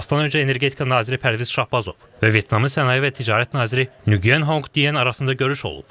İclasdan öncə Energetika naziri Pərviz Şahbazov və Vyetnamın sənaye və ticarət naziri Nuqyen Honq Diyan arasında görüş olub.